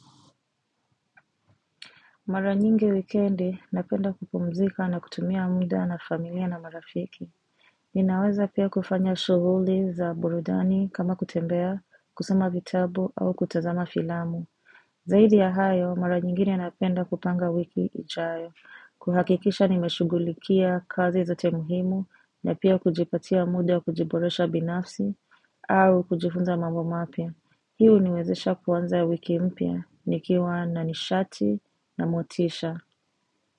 Mara nyingi wikendi, napenda kupumzika na kutumia muda na familia na marafiki. Ninaweza pia kufanya shughuli za burudani kama kutembea, kusoma vitabu au kutazama filamu. Zaidi ya hayo, mara nyingine napenda kupanga wiki ijayo. Kuhakikisha nimeshughulikia kazi zote muhimu na pia kujipatia muda kujiboresha binafsi au kujifunza mambo mapya. Hii huniwezesha kuanza wiki mpya, nikiwa na nishati na motisha.